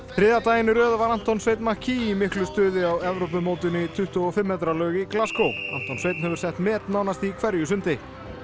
þriðja daginn í röð var Anton Sveinn McKee í miklu stuði á Evrópumótinu í tuttugu og fimm metra laug í Anton Sveinn hefur sett met nánast í hverju sundi